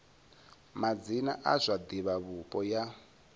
madzina a zwa divhavhupo ya